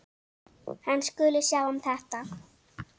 Hann skuli sjá um þetta.